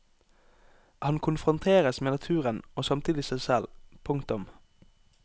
Han konfronteres med naturen og samtidig seg selv. punktum